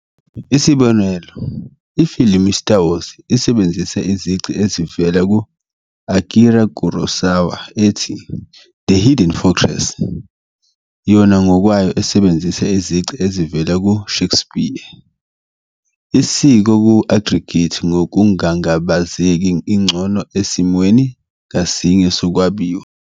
Isibonelo, ifilimu i "-Star Wars" isebenzise izici ezivela ku -Akira Kurosawa ethi "The Hidden Fortress", yona ngokwayo esebenzise izici ezivela ku -Shakespeare, isiko ku-aggregate ngokungangabazeki ingcono esimweni ngasinye sokwabiwa.